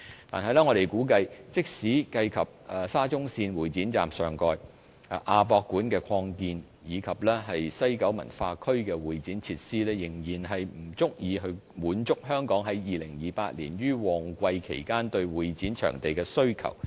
但是，我們估計，即使計及在沙中線會展站上蓋、亞博館擴建，以及西九文化區的會展設施，仍然不足以滿足香港在2028年於旺季期間對會展場地的需求。